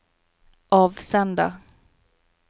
avsender